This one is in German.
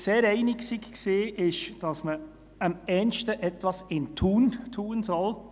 Sehr einig waren wir uns, dass man «am ehesten etwas im Tun tun soll».